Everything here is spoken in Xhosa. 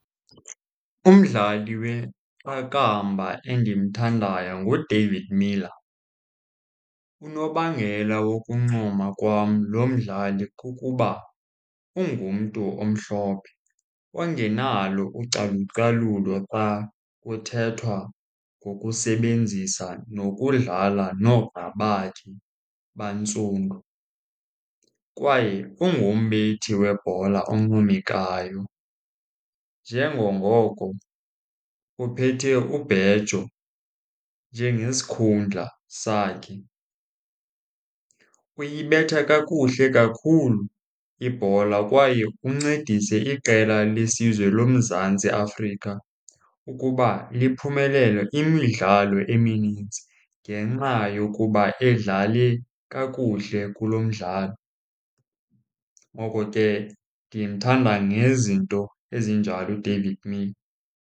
Umdlali weqakamba endimthandayo nguDavid Miller. Unobangela wokuncoma kwam lo mdlali kukuba ungumntu omhlophe ongenalo ucalucalulo xa kuthethwa ngokusebenzisa nokudlala noogxa bakhe abantsundu. Kwaye ungumbethi webhola oncomekayo njengangoko uphethe ubhejo njengesikhundla sakhe. Uyibetha kakuhle kakhulu ibhola kwaye uncedise iqela lesizwe loMzantsi Afrika ukuba liphumelele imidlalo eminintsi ngenxa yokuba edlale kakuhle kulo mdlalo. Ngoko ke ndimthanda ngezinto ezinjalo uDavid Miler.